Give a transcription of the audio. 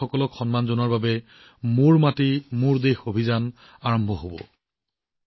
শ্বহীদ বীৰবীৰাংগনাক সম্বৰ্ধনা জনোৱাৰ উদ্দেশ্যে আৰম্ভ হব মেৰী মাটি মেৰা দেশ অভিযান